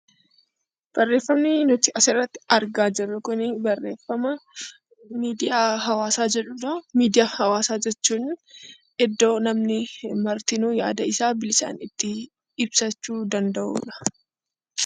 Barreeffamni nuti asirratti argaa jirru kun barreeffama 'miidiyaa hawaasaa' jedhuu dha. Miidiyaa hawaasaa jechuun iddoo namni martinuu yaada isaa bilisaan itti ibsachuu danda'uu dha.